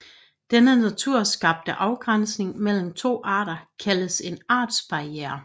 Denne naturskabte afgrænsning mellem to arter kaldes en artsbarriere